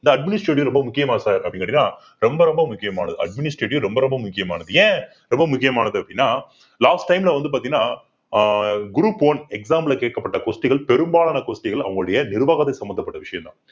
இந்த administrative ரொம்ப முக்கியமா sir அப்படின்னு கேட்டீங்கன்னா ரொம்ப ரொம்ப முக்கியமானது administrative ரொம்ப ரொம்ப முக்கியமானது ஏன் ரொம்ப முக்கியமானது அப்படின்னா last time ல வந்து பார்த்தீங்கன்னா ஆஹ் group one exam ல கேட்கப்பட்ட question கள் பெரும்பாலான question கள் அவங்களுடைய நிர்வாகத்துக்கு சம்பந்தப்பட்ட விஷயம் தான்